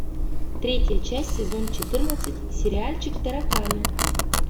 третья часть сезон четырнадцать сериальчик тараканы